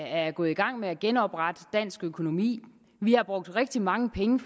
er gået i gang med at genoprette dansk økonomi vi har brugt rigtig mange penge